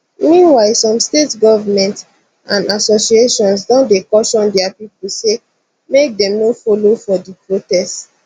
meanwhile some state governments and associations don dey caution dia pipo say make dem no follow for di protest